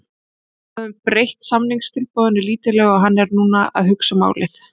Við höfum breytt samningstilboðinu lítillega og hann er núna að hugsa málið.